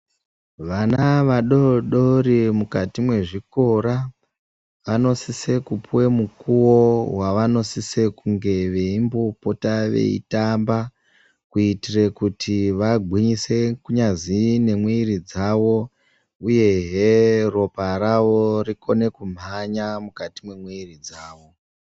Vana vadodori mukati mwezvikora vanosise kupive mukuvo vavanosise kunge veimbopota veitamba. Kuitire kuti vangwinyise kunyazwi nemwiri dzavo, uyehe ropa ravo rikone kumhanya mukati mwemwiri dzavo.